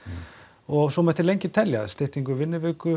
og svo mætti lengi telja styttingu vinnuvikunnar